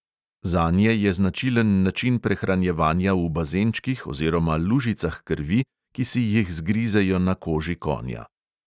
Zanje je značilen način prehranjevanja v bazenčkih oziroma lužicah krvi, ki si jih zgrizejo na koži konja.